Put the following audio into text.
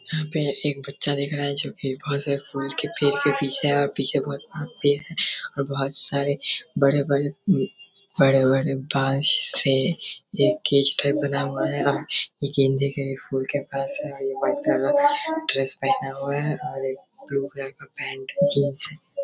यहाँ पे एक बच्चा दिख रहा है जो कि बोहुत से फूल के पेड़ की पीछे है और पीछे बोहुत और बहोत सारे बड़े-बड़े अम बड़े-बड़े बांस से ये बना हुआ है। ये गेंदे के फूल के पास है और ये व्हाइट कलर का ड्रेस पहना हुए है और एक ब्लू कलर पेंट जीन्स है।